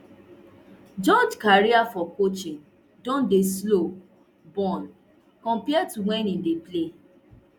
george career for coaching don dey slow burn compare to when e dey play